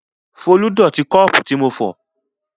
Folú dọ̀tí kọ́ọ́pù tí mo fọ̀.